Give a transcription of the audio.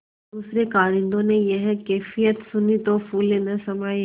दूसरें कारिंदों ने यह कैफियत सुनी तो फूले न समाये